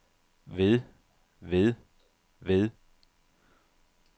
ved ved ved